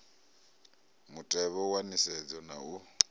mutevhe wa nisedzo na u